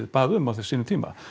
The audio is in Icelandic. bað um á sínum tíma